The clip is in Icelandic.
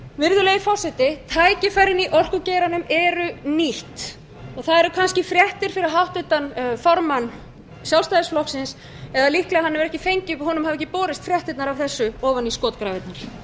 virðulegi forseti tækifærin í orkugeiranum eru nýtt og það eru kannski fréttir fyrir háttvirtan formann sjálfstæðisflokksins ef honum hafi ekki borist fréttirnar af þessu ofan í skotgrafirnar enn á ég eftir að